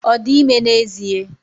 Ọ dị ime n'ezie?